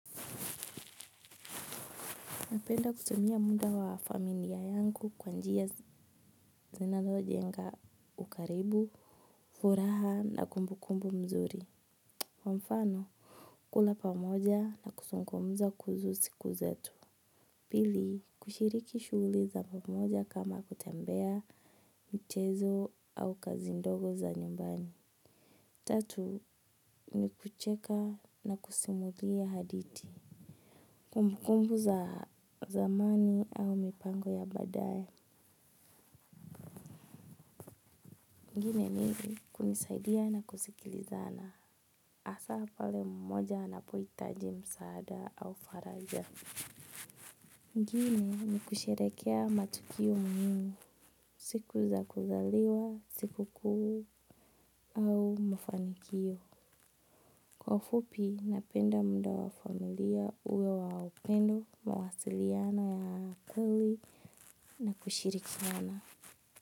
Napenda kutumia muda wa familia yangu kwa njia zinazojenga ukaribu, furaha na kumbukumbu mzuri. Kwa mfano, kula pamoja na kuzungumza kuhusu siku zetu. Pili, kushiriki shuguli za pamoja kama kutembea mchezo au kazi ndogo za nyumbani. Tatu, ni kucheka na kusimulia hadithi. Kumbukumbu za zamani au mipango ya baadaye. Mengine ni kunisaidia na kusikilizana, hasa pale mmoja anapohitaji msaada au faraja. Mengine ni kusherekea matukio muhimu, siku za kuzaliwa, sikukuu au mafanikio. Kwa ufupi, napenda mda wa familia uwe wa upendo, mawasiliano ya akali na kushirikiana.